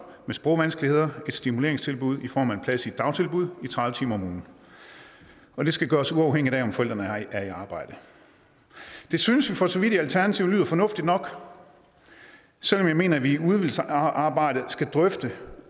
med sprogvanskeligheder et stimuleringstilbud i form af en plads i et dagtilbud i tredive timer om ugen og det skal gøres uafhængig af om forældrene er i arbejde det synes vi for så vidt i alternativet lyder fornuftigt nok selv om vi mener at vi i udvalgsarbejdet skal drøfte